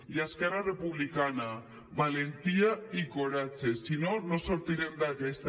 i a esquerra republicana valentia i coratge si no no en sortirem d’aquesta